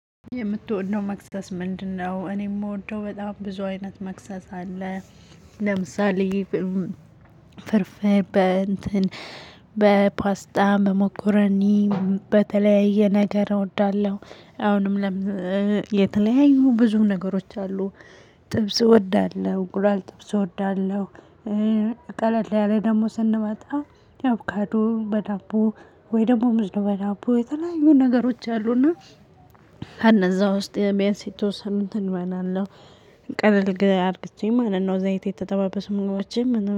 የምትወደው መክሰስ ምንድነው? እኔ የምወደው በጣም ብዙ አይነት መክሰስ አለ። ለምሳሌ ፍርፍር በፓስታ በመኮረኒ በተለያየ ነገር እወዳለሁ። አሁንም ለም የተለያዩ ብዙ ነገሮች አሉ። ጥብስ እወዳለሁ እንቁላል ጥብስ እወዳለሁ። ቀለል ያለ ደግሞ ስንመጣ ያው አቦካዶ በዳቦ ወይ ደግሞ ሙዝ በዳቦ የተለያዩ ነገሮች አሉና ከነዛ ውስጥ ቢያንስ የተወሰኑትን እበላለሁ። ቀለል አርግቼ ማለት ነው ዘይት የተጠባበሱ ምግቦችን